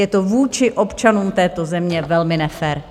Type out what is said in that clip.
Je to vůči občanům této země velmi nefér.